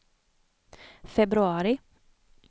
februari